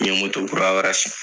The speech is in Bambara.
I ye moto kura wɛrɛ san .